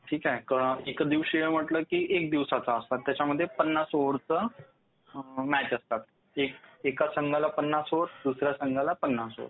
ठीक आहे? एकदिवसीय म्हटलं की एक दिवसाचा खेळ असतात. त्याच्यामध्ये पन्नास ओव्हरच्या मॅच असतात. एका संघाला पन्नास ओव्हर, दुसऱ्या संघाला पन्नास ओव्हर.